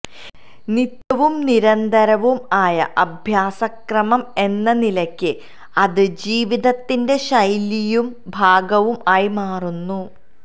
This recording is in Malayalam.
നിത്യവും നിരന്തരവും ആയ അഭ്യാസക്രമം എന്നനിലയ്ക്ക് അത് ജീവിതത്തിന്റെ ശൈലിയും ഭാഗവും ആയി മാറുന്നു